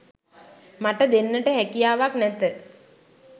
මට දෙන්නට හැකියාවක් නැත